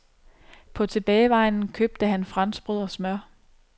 På tilbagevejen købte han franskbrød og smør.